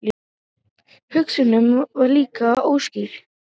Hugsunin var líka óskýr.